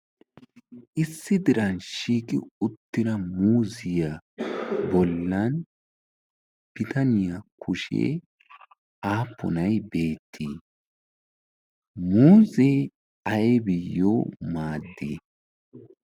issi diran shigi uttina muuziyaa bollan bitaniyaa kushee aapponay beettii muuzee aibiyyo maaddii